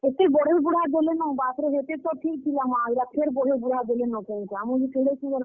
ହେତେ ବଢେଇବୁଢା ଦେଲେନ ବାପ୍ ରେ, ହେତେ ତ ଠିକ୍ ଥିଲା ମା ଇଟା ଫେର୍ ବଢେଇବୁଢା ଦେଲେନ କେଁ ଇଟା, ମୁଇଁ ଯେ କେଡେ ସୁନ୍ଦର୍।